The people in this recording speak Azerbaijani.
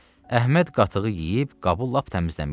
Əhməd qatığı yeyib qabı lap təmizləmişdi.